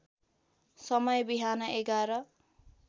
समय बिहान ११